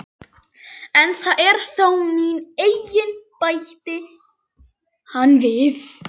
En það er þó mín eign, bætti hann við.